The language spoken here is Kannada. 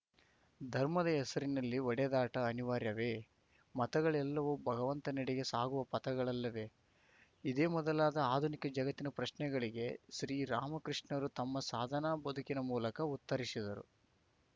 ಧರ್ಮದ ಹೆಸರಿನಲ್ಲಿ ಹೊಡೆದಾಟ ಅನಿವಾರ್ಯವೇ ಮತಗಳೆಲ್ಲವೂ ಭಗವಂತನೆಡೆಗೆ ಸಾಗುವ ಪಥಗಳಲ್ಲವೇ ಇದೇ ಮೊದಲಾದ ಆಧುನಿಕ ಜಗತ್ತಿನ ಪ್ರಶ್ನೆಗಳಿಗೆ ಶ್ರೀರಾಮಕೃಷ್ಣರು ತಮ್ಮ ಸಾಧನಾ ಬದುಕಿನ ಮೂಲಕ ಉತ್ತರಿಸಿದರು